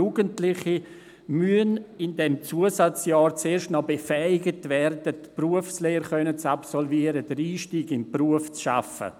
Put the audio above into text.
Jugendliche müssen in diesem Zusatzjahr erst einmal befähigt werden, eine Berufslehre absolvieren und den Einstieg in den Beruf zu schaffen.